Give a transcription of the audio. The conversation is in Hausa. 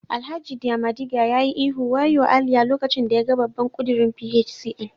Alhaji diamadiga ya yi ihu waoyo Aliyah lokacin da yaga babban kudirin PHCN